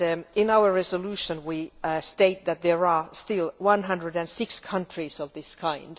In our resolution, we state that there are still 106 countries of this kind.